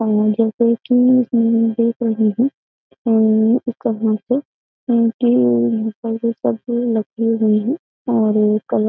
और जैसे की हम देख रहे हैं और इस तरह से और कलर --